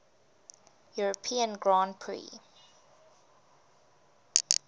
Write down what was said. european grand prix